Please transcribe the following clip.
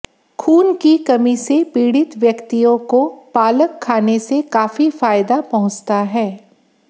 खून की कमी से पीड़ित व्यक्तियों को पालक खाने से काफी फायदा पहुंचता है